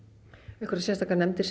einhverjar sérstakar nefndir sem